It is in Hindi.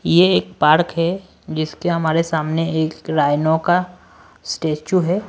ये एक पार्क है जिसके हमारे सामने एक रायनो का स्टैचू है।